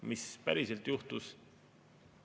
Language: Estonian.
Mis päriselt juhtus?